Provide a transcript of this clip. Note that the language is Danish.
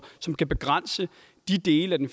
som kan begrænse de dele af den